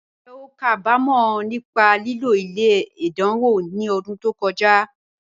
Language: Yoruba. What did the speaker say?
Njẹ́ o ká bá mọ̀ nípa lílò ilẹ̀ ẹ̀dáńwò ni ọ̀dún tó kọja?